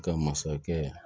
Ka masakɛ